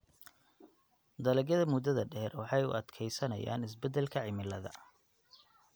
Dalagyada muddada-dheer waxay u adkeysanayaan isbeddelka cimilada.